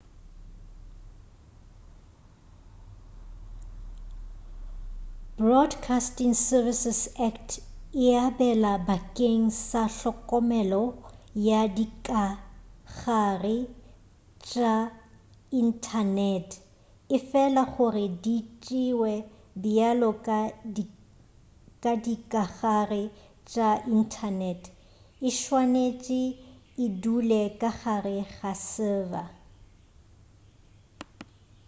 broadcasting services act e abela bakeng sa hlokomelo ya dikagare tša inthanete efela gore di tšewe bjalo ka dikagare tša inthanete e swanetše e dule ka gare ga server